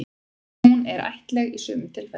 Hún er ættlæg í sumum tilfellum.